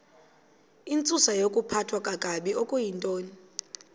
intsusayokuphathwa kakabi okuyintoni